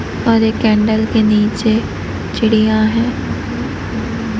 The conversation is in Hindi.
और एक कैंडल के नीचे चिड़िया है।